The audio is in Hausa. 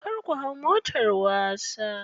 Kar ku hau motar wasa.